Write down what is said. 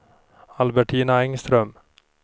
Albertina Engström